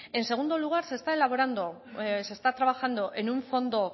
en segundo lugar se está elaborando se está trabajando en un fondo